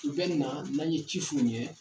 U bɛ na n'an ye ci f'u ye